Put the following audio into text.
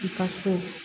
I ka so